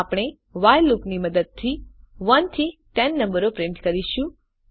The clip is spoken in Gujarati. આપણે વ્હાઇલ લૂપની મદદથી 1 થી 10 નંબરો પ્રિન્ટ કરીશું